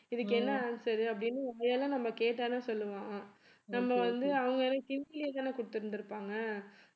இதுக்கு என்ன answer அப்படின்னு வாயால நம்ம கேட்டாலே சொல்லுவான் நம்ம வந்து அவங்க ஏன்னா ஹிந்தில தான கொடுத்திருந்து இருப்பாங்க